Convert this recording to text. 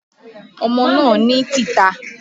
Ọmọ náà ní tìta